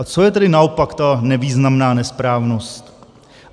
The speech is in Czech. A co je tedy naopak ta nevýznamná nesprávnost?